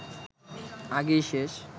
আগেই শেষ